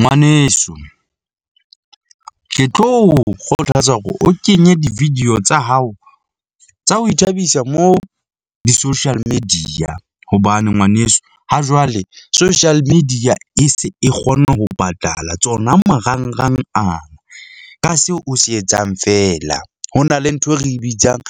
Ngwaneso , ke tlo o kgothatsa hore o kenye di-video tsa hao tsa ho ithabisa, mo di-social media hobane ngwaneso ha jwale social media e se e kgona ho patala tsona marangrang a, ka seo o se etsang feela. Ho na le ntho e re bitsang